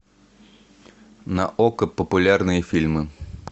на окко популярные фильмы